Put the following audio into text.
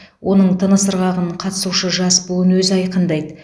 оның тыныс ырғағын қатысушы жас буын өзі айқындайды